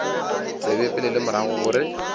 tsebe pele le morago gore